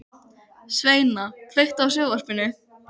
Sveina, kveiktu á sjónvarpinu.